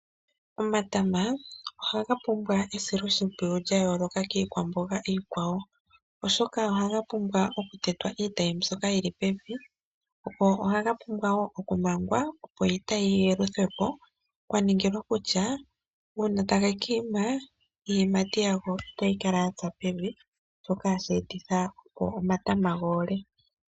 Omatama ohaga pumbwa esiloshimpiyu lya yooloka kiikwa mboga iikwawo oshoka ohaga pumbwa oku tetwa iitayi mbyoka yili pevi. Go ohaga pumbwa wo oku mangwa opo iitayi yi yeluthwepo kwa ningilwa kutya uuna tage kiima iiyimati yago itayi kala ya tsa pevi , shoka hashi etitha omatama goole .